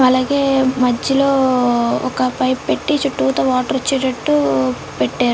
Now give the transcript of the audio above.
అలాగే మధ్యలో ఒక పైప్ పెట్టి చుట్టూ తా వాటర్ వచ్చేటట్టు పెట్టారు.